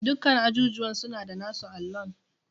Dukkan ajujuwa suna da nasu allon.